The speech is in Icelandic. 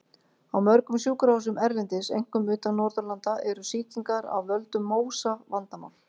Á mörgum sjúkrahúsum erlendis, einkum utan Norðurlanda, eru sýkingar af völdum MÓSA vandamál.